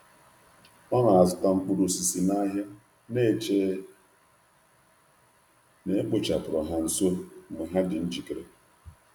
Ọ na-azụta mkpụrụ osisi n’ahịa, na-ekwere na a na-aghọrọ ya mgbe ọ mgbe ọ na-acha.